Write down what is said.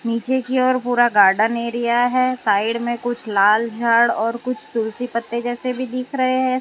पीछे की और पूरा गार्डन एरिया है साइड में कुछ लाल झाड़ और कुछ तुलसी पत्ते जैसे भी दिख रहे हैं।